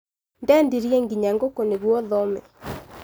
Ndendirie nginya gũkũ nĩguo thome.